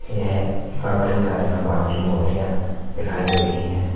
येह पर कई सारी भगवान की मूर्तियां दिखाई दे रही हैं।